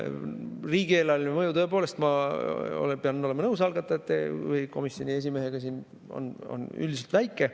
Riigieelarveline mõju tõepoolest – ma pean olema nõus algatajatega või komisjoni esimehega siin – on üldiselt väike.